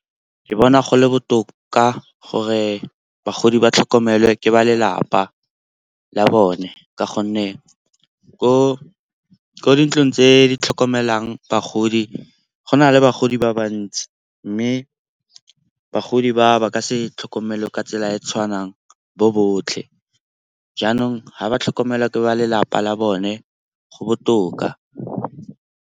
Ke bona go le botoka gore bagodi ba tlhokomelwa ke ba lelapa la bone ka gonne ko dintlong tse di tlhokomelang bagodi go na le bagodi ba ba ntsi, mme bagodi ba ba ka se tlhokomelwe ka tsela e e tshwanang bo botlhe. Jaanong ga ba tlhokomelwa ke ba lelapa la bone go botoka.